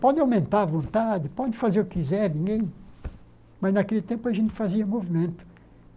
Pode aumentar a vontade, pode fazer o que quiser, ninguém... Mas, naquele tempo, a gente fazia movimento.